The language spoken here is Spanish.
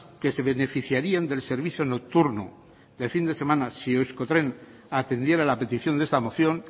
que se beneficiarían del servicio nocturno de fin de semana si euskotren atendiera la petición de esta moción